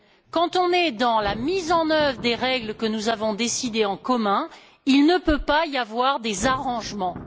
Quand on est dans la mise en œuvre des règles que nous avons décidées en commun, il ne peut pas y avoir des arrangements.